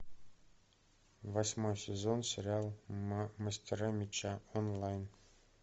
восьмой сезон сериал мастера меча онлайн